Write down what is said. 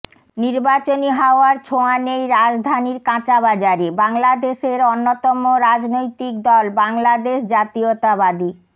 নির্বাচনী হাওয়ার ছোয়া নেই রাজধানীর কাঁচা বাজারে বাংলাদেশের অন্যতম রাজনৈতিক দল বাংলাদেশ জাতীয়তাবাদী